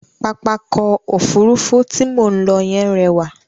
Pápákọ̀ Òfurufú tí mò ń lọ yẹn rẹwà.